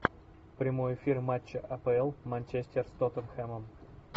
прямой эфир матча апл манчестер с тоттенхэмом